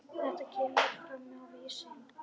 Þetta kemur fram á Vísi.